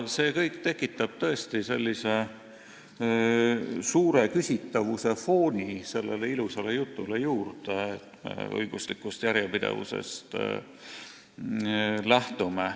See kõik tekitab tõesti küsitavuse fooni sellele ilusale jutule, et me lähtume õiguslikust järjepidevusest.